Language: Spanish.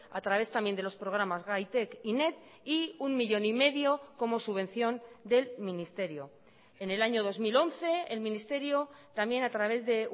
a través también de los programas gaitek y net y uno millón y medio como subvención del ministerio en el año dos mil once el ministerio también a través de